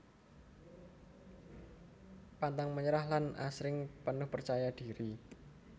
Pantang menyerah lan asring penuh percaya diri